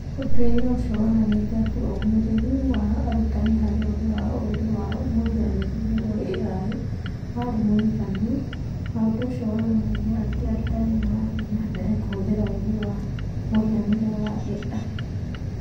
Ũtuĩria ũcio wonanĩtie atĩ ũũmĩrĩru wa arutani harĩ ũgĩ wa ũũgĩ wa mũhianĩre(AI) warĩ mũiganu, na ũndũ ũcio wonanagia atĩ arutani nĩ marathiĩ na mbere kũhũthĩra ũũgĩ wa mũhianĩre(AI)